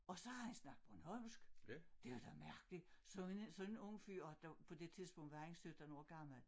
Og så havde han snakket bornholmsk det var da mærkelig sådan en sådan en ung fyr og på det tidspunkt var han 17 år gammel